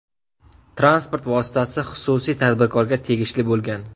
Transport vositasi xususiy tadbirkorga tegishli bo‘lgan.